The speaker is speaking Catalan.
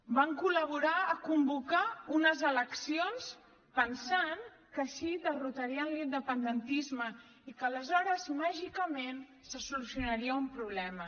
van col·laborar a convocar unes eleccions pensant que així derrotarien l’independentisme i que aleshores màgicament se solucionaria un problema